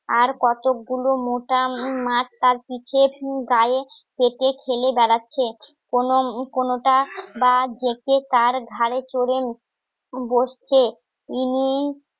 আর কতগুলো মোটা মাছ তার কি পেটে ঠেলে বেড়াচ্ছে কোনো কোনোটা বা ডেকে তার ঘাড়ে চড়ে বসছে ইনি